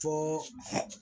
Fo